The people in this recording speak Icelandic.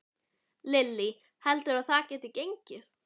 Lillý: Heldurðu að það geti gengið?